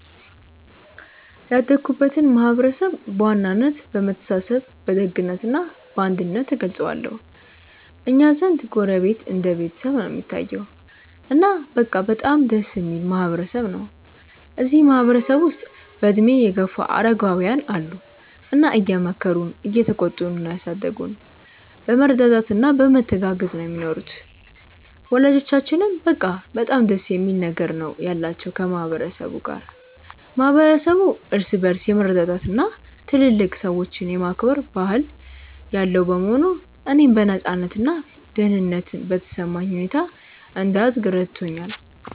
ያደግኩበትን ማህበረሰብ በዋናነት በመተሳሰብ በደግነት እና በአንድነት እገልጸዋለሁ። እኛ ዘንድ ጎረቤት እንደ ቤተሰብ ነው እሚታየዉ። እና በቃ በጣም ደስ እሚል ማህበረ ሰብ ነው። እዚህ ማህበረ ሰብ ውስጥ በእድሜ የገፉ አረጋውያን አሉ እና እየመከሩና እየተቆጡ ነው ያሳደጉን። በመረዳዳት እና በመተጋገዝ ነው ሚኖሩት። ወላጆቻችንም በቃ በጣም ደስ የሚል ነገር ነው ያላቸው ከ ማህበረ ሰቡ ጋር። ማህበረሰቡ እርስ በርስ የመረዳዳት እና ትልልቅ ሰዎችን የማክበር ባህል ያለው በመሆኑ፣ እኔም በነፃነት እና ደህንነት በተሰማኝ ሁኔታ እንድደግ ረድቶኛል።